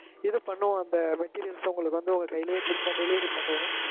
இது பன்ணுவொம் அந்த materials அ உங்களுக்கு வந்து உங்க கையிலே குறிப்பா delivery பண்ணுவோம்